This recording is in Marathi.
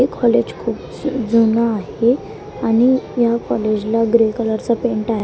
हे कॉलेज खूप जून जुनं आहे आणि या कॉलेज ला ग्रे कलर चा पेंट आहे.